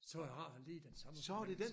Så har han lige den samme fornemmelse